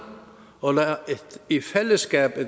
om i fællesskab at